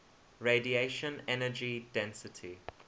radiation energy density